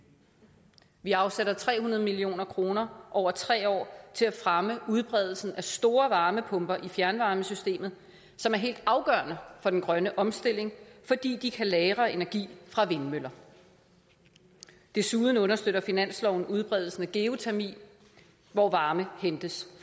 vi afsætter tre hundrede million kroner over tre år til at fremme udbredelsen af store varmepumper i fjernvarmesystemet som er helt afgørende for den grønne omstilling fordi de kan lagre energi fra vindmøller desuden understøtter finansloven udbredelsen af geotermi hvor varme hentes